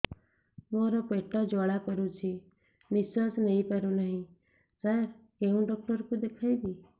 ମୋର ପେଟ ଜ୍ୱାଳା କରୁଛି ନିଶ୍ୱାସ ନେଇ ପାରୁନାହିଁ ସାର କେଉଁ ଡକ୍ଟର କୁ ଦେଖାଇବି